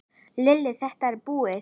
Lillý:. þetta búið?